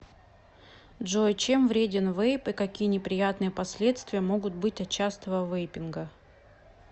джой чем вреден вейп и какие неприятные последствия могут быть от частого вейпинга